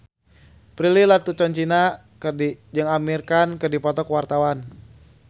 Prilly Latuconsina jeung Amir Khan keur dipoto ku wartawan